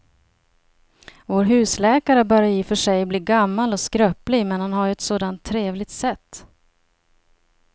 Vår husläkare börjar i och för sig bli gammal och skröplig, men han har ju ett sådant trevligt sätt!